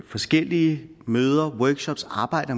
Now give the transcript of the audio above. forskellige møder workshops arbejde